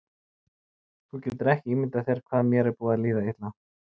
Þú getur ekki ímyndað þér hvað mér er búið að líða illa!